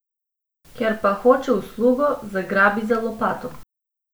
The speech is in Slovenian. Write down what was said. Ker pa hoče uslugo, zagrabi za lopato.